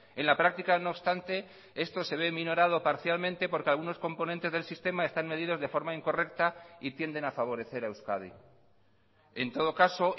en la práctica no obstante esto se ve minorado parcialmente porque algunos componentes del sistema están medidos de forma incorrecta y tienden a favorecer a euskadi en todo caso